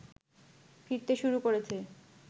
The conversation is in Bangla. ফিরতে শুরু করেছে